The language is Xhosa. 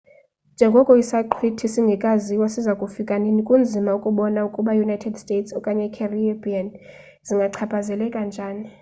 njengoko isaqhwithi singekaziwa siza kufika nini kunzima ukubona ukuba i-united states okanye i-caribbean zingachaphazeleka njani